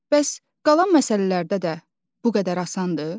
Bəs qalan məsələlərdə də bu qədər asandır?